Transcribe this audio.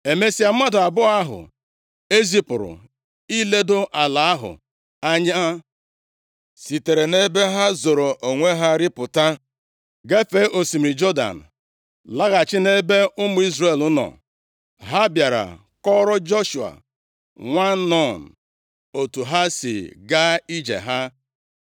Emesịa, mmadụ abụọ ahụ e zipụrụ iledo ala ahụ anya sitere nʼebe ha zoro onwe ha rịpụta, gafee osimiri Jọdan, laghachi nʼebe ụmụ Izrel nọ. Ha bịara kọọrọ Joshua nwa Nun otu ha si gaa ije ha.